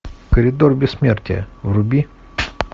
коридор бессмертия вруби